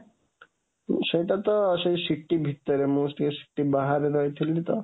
ଉମ ସେଇଟା ତ ସେଇ city ଭିତରେ, ମୁଁ city ବାହାରେ ରହିଥିଲି ତ